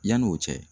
Yanni o cɛ